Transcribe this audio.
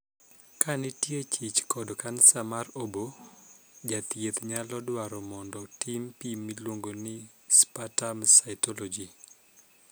Ka nitie chich kod kansa mar oboo, jathieth nyalo dwaro mondo tim pim miluongo ni 'sputum cytology'.